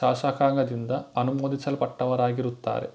ಶಾಸಕಾಂಗದಿಂದ ಅನುಮೋದಿಸಲ್ಪಟ್ಟವರಾಗಿರುತ್ತಾರೆ